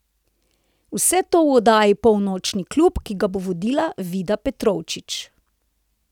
Vse to v oddaji Polnočni klub, ki ga bo vodila Vida Petrovčič.